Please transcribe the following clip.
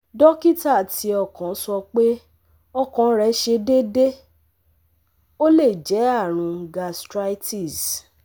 Dókítà ti okan sọ pé ọkàn re se deede, ó lè jẹ́ àrùn gastritis